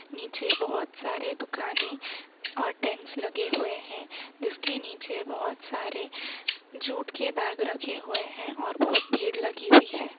नीचे बहुत सारे दुकानें और टेंट्स लगे हुए हैं। जिसके नीचे बहुत सारे जूट के बैग रखे हुए हैं और बहुत भीड़ लगी हुई है।